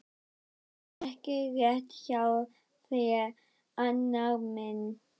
Það er ekki rétt hjá þér, Arnar minn.